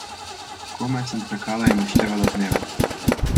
Komaj sem čakala in odštevala dneve.